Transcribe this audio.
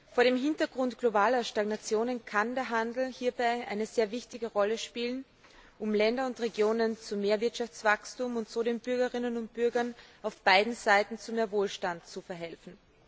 Vor dem Hintergrund globaler Stagnation kann der Handel hierbei eine sehr wichtige Rolle spielen, um Länder und Regionen zu mehr Wirtschaftswachstum und so den Bürgerinnen und Bürgern auf beiden Seiten zu mehr Wohlstand zu verhelfen.